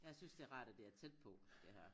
Jeg synes det er rart at det er tæt på det her